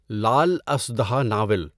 لال اژدہا ناول